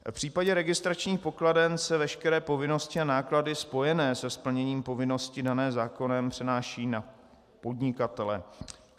V případě registračních pokladen se veškeré povinnosti a náklady spojené se splněním povinnosti dané zákonem přenáší na podnikatele.